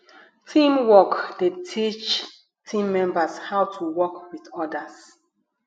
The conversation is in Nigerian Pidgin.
teamwork dey teach team members how to work with others